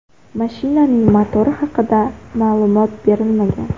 Mashinaning motori haqida ma’lumot berilmagan.